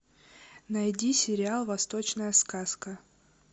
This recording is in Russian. найди сериал восточная сказка